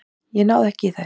Ég náði ekki í þær.